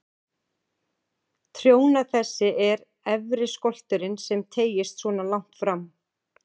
Trjóna þessi er efri skolturinn sem teygist svona langt fram.